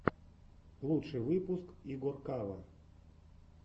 лучший выпуск игоркава